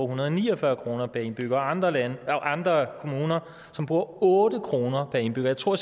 hundrede og ni og fyrre kroner per indbygger og andre kommuner som bruger otte kroner per indbygger jeg tror